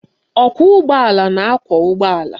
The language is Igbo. Ọkwọụgbọala na-akwọ ụgbọala